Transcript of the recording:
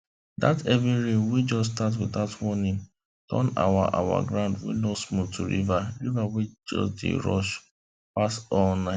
dat heavy rain wey just start without warning turn our our ground wey no smooth to river river wey dey rush pass all night